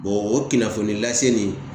o kunnafoni lase nin